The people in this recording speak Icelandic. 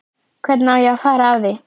Hvernig á ég að fara að því?